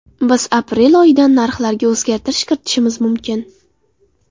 Biz aprel oyidan narxlarga o‘zgartirish kiritishimiz mumkin.